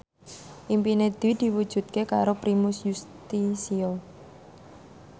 impine Dwi diwujudke karo Primus Yustisio